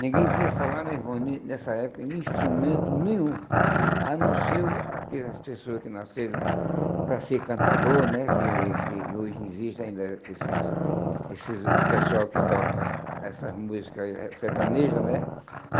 Ninguém via falar meu irmão em nessa época de instrumento nenhum, a não ser aquelas pessoas que nasceram para ser cantador né, que que hoje existem ainda esses esses pessoal que toca essas músicas aí eh sertaneja né.